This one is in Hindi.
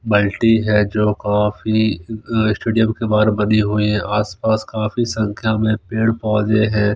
बल्टी है जो कौफी स्टेडियम के बाहर बनी हुई है सपास काफी संख्या में पेड़ पौधे है।